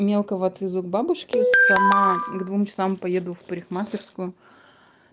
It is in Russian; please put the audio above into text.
мелкого отвезу к бабушке сама к двум часам поеду в парикмахерскую